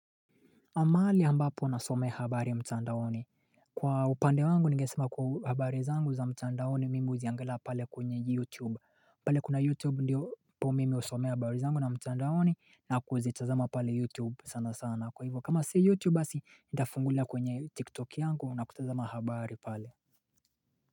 Mahali ambapo nasomea habari ya mtandaoni Kwa upande wangu ningesema kuwa habari zangu za mtandaoni mimi huziangilia pale kwenye youtube pale kuna youtube ndiyoopo mimi husomea habari zangu na mtandaoni na kuzitazama pale youtube sana sana kwa hivyo kama si youtube basi nitafungulia kwenye tiktok yangu na kutazama habari pale.